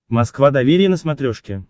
москва доверие на смотрешке